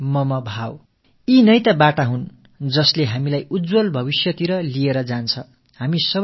அனைவரும் சமம் அனைவரும் நம்மவர்கள் என்ற உணர்வு தாம் நம்மை ஒளிமயமான எதிர்காலத்தை நோக்கி இட்டுச் செல்லும் வழிகள்